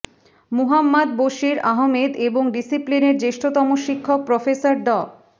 মুহাম্মদ বশীর আহমেদ এবং ডিসিপ্লিনের জ্যেষ্ঠতম শিক্ষক প্রফেসর ড